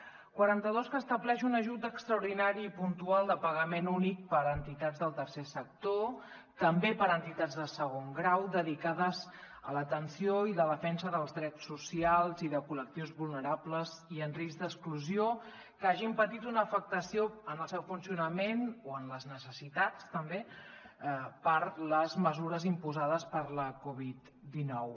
el quaranta dos que estableix un ajut extraordinari i puntual de pagament únic per a entitats del tercer sector també per a entitats de segon grau dedicades a l’atenció i la defensa dels drets socials i de col·lectius vulnerables i en risc d’exclusió que hagin patit una afectació en el seu funcionament o en les necessitats també per les mesures imposades per la covid dinou